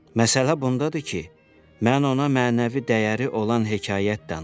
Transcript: Məsələ bundadır ki, mən ona mənəvi dəyəri olan hekayət danışdım.